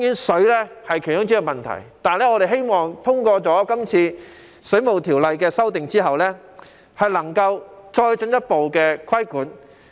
水費當然是問題之一，但我們希望在這次對《水務設施規例》的修訂後，當局能夠進一步作出規管。